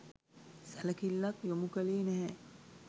සැලකිල්ලක් යොමු කළේ නැහැ.